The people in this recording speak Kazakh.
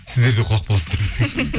сіздер де құлап қаласыздар десең